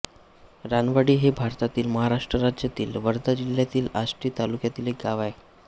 रानवाडी हे भारतातील महाराष्ट्र राज्यातील वर्धा जिल्ह्यातील आष्टी तालुक्यातील एक गाव आहे